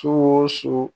Su o su